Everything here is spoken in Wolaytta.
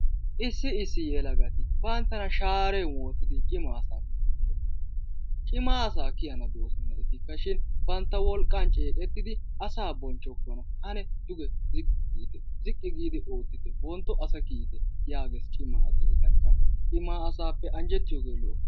Issi issi yelagati banttana shaaren wottidi cimma asay, cimma asa kyaana doosona etika shin asa bonchchokona, ane duge ziqqi giite ziqqi giidi ootitte yaagees cimma asay, cimma asappe anjjetiyooge lo''o.